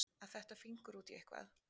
Að fetta fingur út í eitthvað